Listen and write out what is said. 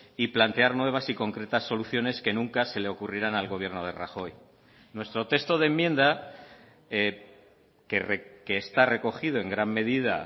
y plantear nuevas y concretas soluciones que nunca se le ocurrirán al gobierno de rajoy nuestro texto de enmienda que está recogido en gran medida